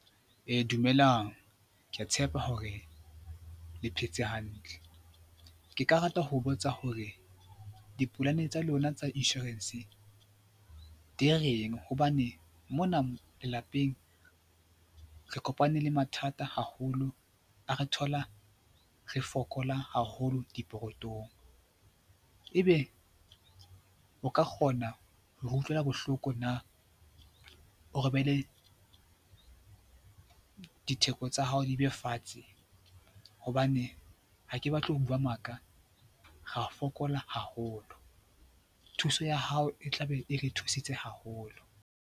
Dumelang, ke a tshepa hore le phetse hantle. Ke ka rata ho botsa hore dipolane tsa lona tsa insurance di reng? Hobane mona lapeng re kopane le mathata haholo, a re thola re fokola haholo dipokothong. Ebe o ka kgona hore utlwela bohloko na? Ditheko tsa hao di be fatshe hobane, ha ke batle ho bua maka, ra fokola haholo. Thuso ya hao e tla be e re thusitse haholo.